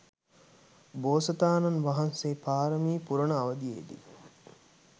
බෝසතාණන් වහන්සේ පාරමී පුරන අවධියේදි